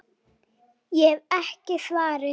Ég hef ekki svarið.